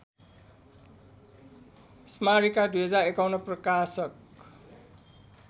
स्मारिका २०५१ प्रकाशक